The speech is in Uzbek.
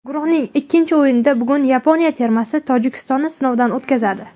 Guruhning ikkinchi o‘yinida bugun Yaponiya termasi Tojikistonni sinovdan o‘tkazadi.